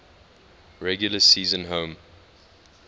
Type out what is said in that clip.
regular season home